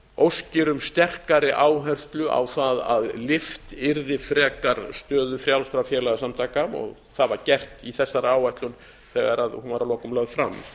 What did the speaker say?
óskir um sterkari áherslu á það að lyft yrði frekar stöðu frjálsra félagasamtaka og það var gert í þessari áætlun þegar hún var að lokum lögð fram